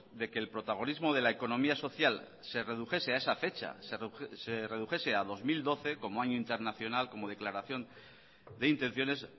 de que el protagonismo de la economía social se redujese a esa fecha se redujese a dos mil doce como año internacional como declaración de intenciones